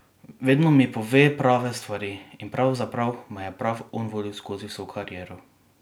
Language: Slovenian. Vedno mi pove prave stvari in pravzaprav me je prav on vodil skozi vso kariero.